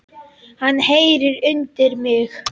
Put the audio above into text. Hann heyrir undir mig.